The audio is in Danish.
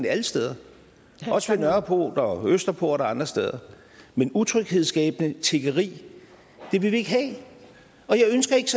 alle steder også ved nørreport og østerport og andre steder men utryghedsskabende tiggeri vil vi ikke have og jeg ønsker ikke